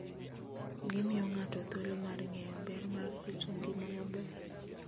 Gimiyo ng'ato thuolo mar ng'eyo ber mar rito ngima maber.